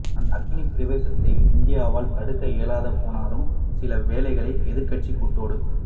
அந்த அக்கினிப் பிரவேசத்தை இந்தியாவால் தடுக்க இயலாது போனாலும் சில வேளைகளில் எதிர்க்கட்சிக் கூட்டோடு